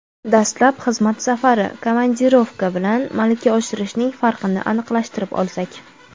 Dastlab xizmat safari (komandirovka) bilan malaka oshirishning farqini aniqlashtirib olsak.